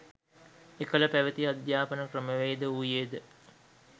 එකල පැවැති අධ්‍යාපන ක්‍රමවේද වූයේද